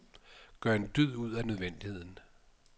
Gør en dyd ud af nødvendigheden.